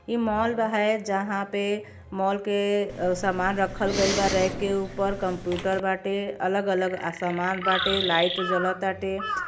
ई मॉल व है जहां पे मॉल के सामान रखल गयल बा रैक के ऊपर कंप्युटर बाटे अलग-अलग अ समान बाटे लाइट जल ताटे।